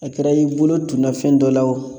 A kɛra i bolo tunna fɛn dɔ la o